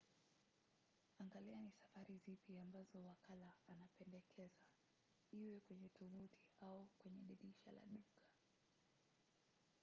angalia ni safari zipi ambazo wakala anapendekeza iwe kwenye tovuti au kwenye dirisha la duka